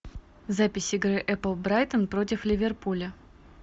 запись игры апл брайтон против ливерпуля